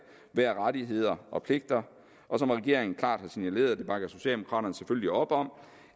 være rettigheder og pligter og som regeringen klart har signaleret og det bakker socialdemokraterne selvfølgelig op om